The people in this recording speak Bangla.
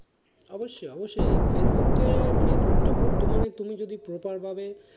অবশ্য অবশ্যই ফেসবুকে ফেসবুক তো বর্তমানে তুমি যদি proper ভাবে,